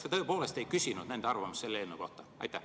Kas te tõepoolest ei küsinud nende arvamust selle eelnõu kohta?